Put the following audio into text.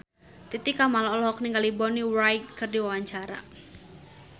Titi Kamal olohok ningali Bonnie Wright keur diwawancara